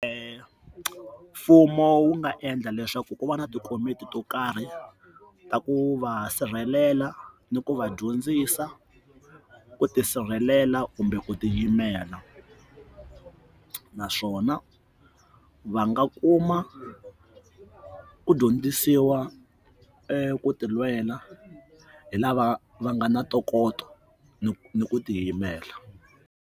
mfumo wu nga endla leswaku ku va na tikomiti to karhi ta ku va sirhelela ni ku va dyondzisa ku tisirhelela kumbe ku tiyimela, naswona va nga kuma u dyondzisiwa eku tilwela hi lava va nga na ntokoto ni ni ku tiyimela.